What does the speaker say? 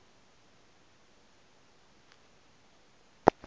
ga o tšwafe le go